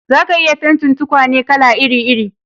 Za a iya fentin tukwane kala iri iri